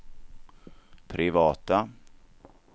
privata